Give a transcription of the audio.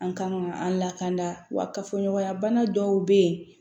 An kan ka an lakana wa ka fɔ ɲɔgɔnya bana dɔw bɛ yen